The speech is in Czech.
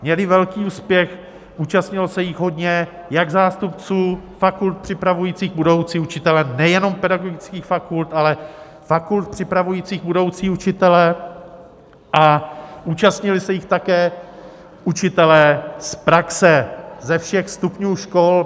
Měly velký úspěch, účastnilo se jich hodně jak zástupců fakult připravujících budoucí učitele nejenom pedagogických fakult, ale fakult připravujících budoucí učitele a účastnili se jich také učitelé z praxe ze všech stupňů škol.